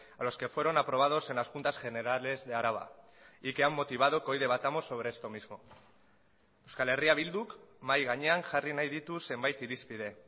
a los que fueron aprobados en las juntas generales de araba y que han motivado que hoy debatamos sobre esto mismo euskal herria bilduk mahai gainean jarri nahi ditu zenbait irizpide